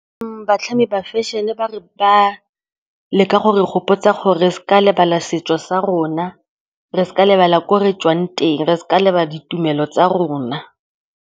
Batlhami ba fashion-e ba leka go re gopotsa gore re sa lebala setso sa rona, re sa lebala ko re tswang teng, re seka lebala ditumelo tsa rona.